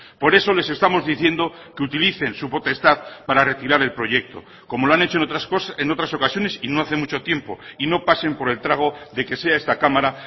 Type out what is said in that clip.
por eso les estamos diciendo que utilicen su potestad para retirar el proyecto como lo han hecho en otras ocasiones y no hace mucho tiempo y no pasen por el trago de que sea esta cámara